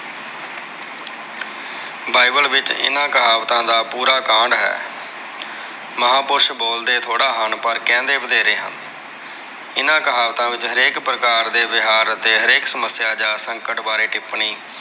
Bible ਵਿੱਚ ਇਹਨਾਂ ਕਹਾਵਤਾਂ ਦਾ ਪੂਰਾ ਕਾਂਡ ਹੈ। ਮਹਾਪੁਰਸ਼ ਬੋਲਦੇ ਥੋੜ੍ਹਾ ਹਨ। ਪਰ ਕਹਿੰਦੇ ਵਧੇਰੇ ਹਨ। ਇਹਨਾਂ ਕਹਾਵਤਾ ਵਿੱਚ ਹਰੇਕ ਪ੍ਰਕਾਰ ਦੇ ਵਿਹਾਰ ਅਤੇ ਹਰੇਕ ਸਮੱਸਿਆ ਜਾਂ ਸੰਕਟ ਬਾਰੇ ਟਿੱਪਣੀ।